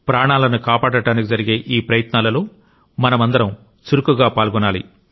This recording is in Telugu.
ప్రాణాలను కాపాడటానికి జరిగే ఈ ప్రయత్నాలలో మనమందరం చురుకుగా పాల్గొనాలి